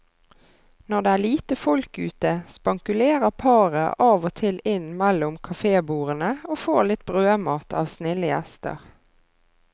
Når det er lite folk ute, spankulerer paret av og til inn mellom kafébordene og får litt brødmat av snille gjester.